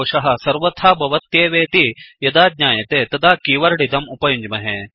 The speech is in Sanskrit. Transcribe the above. एक्सेप्शन दोषः सर्वथा भवत्येवेति यदा ज्ञायते तदा कीवर्ड् इदम् उपयुञ्ज्महे